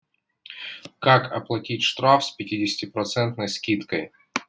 как оплатить штраф с пятидесятипроцентной скидкой